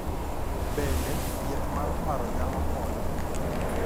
Bende, thieth mar paro nyalo konyo.